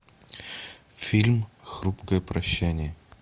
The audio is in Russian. фильм хрупкое прощание